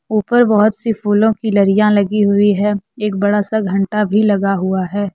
उपर बहोत सी फूलों की लरिया लगी हुई है एक बड़ा सा घंटा भी लगा हुआ है।